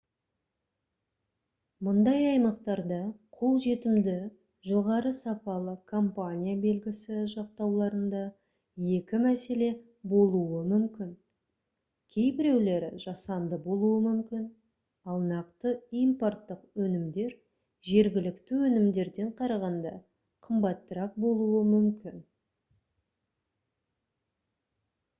мұндай аймақтарда қолжетімді жоғары сапалы компания белгісі жақтауларында екі мәселе болуы мүмкін кейбіреулері жасанды болуы мүмкін ал нақты импорттық өнімдер жергілікті өнімдерден қарағанда қымбатырақ болуы мүмкін